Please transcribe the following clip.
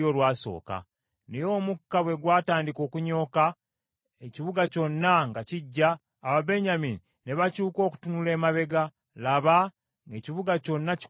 Naye omukka bwe gwatandika okunyooka, ekibuga kyonna nga kigya, Ababenyamini ne bakyuka okutunula emabega, laba, ng’ekibuga kyonna kikutte omuliro.